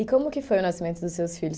E como que foi o nascimento dos seus filhos?